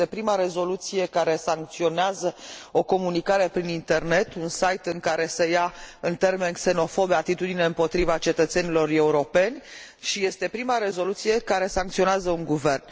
Este prima rezoluție care sancționează o comunicare prin internet, un site în care se ia, în termeni xenofobi, atitudine împotriva cetățenilor europeni și este prima rezoluție care sancționează un guvern.